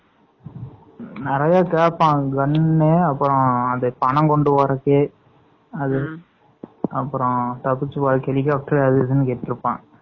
வேற எதோ கேப்பான் அப்பறம் பணம் கொண்டுவரது, அப்பறம் அது helicopter அது இதுனு கேட்டுட்டு இருப்பான்.